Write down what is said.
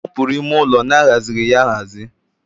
Ị hapụrụ ime ụlọ na-aghazighi ya aghazi